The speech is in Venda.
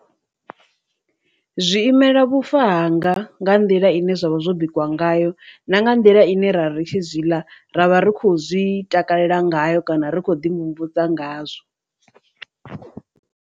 Zwi imela vhufa hanga nga nḓila ine zwavha zwo bikiwa ngayo na nga nḓila ine ra ri tshi zwi ḽa ra vha ri khou zwi takalela ngayo kana ri kho ḓi mvumvusa ngazwo.